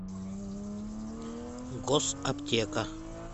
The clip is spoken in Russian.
госаптека